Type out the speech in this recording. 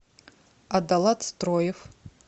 адалат строев